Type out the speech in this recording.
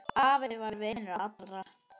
Afi var vinur allra.